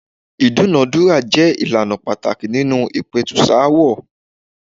Ìdúnàándúrà jẹ́ ìlànà pàtàkì nínú ìpẹ̀tùsááwọ̀.